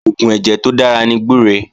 Oògùn ẹ̀jẹ̀ tó dára ní gbúre